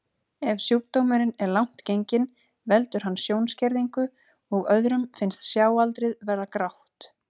Ef sjúkdómurinn er langt genginn veldur hann sjónskerðingu og öðrum finnst sjáaldrið vera grátt.